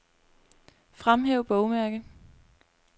Fremhæv bogmærke.